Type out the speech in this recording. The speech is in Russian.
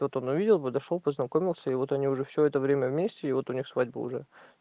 тут он увидел подошёл познакомился и вот они уже всё это время вместе и вот у них свадьба уже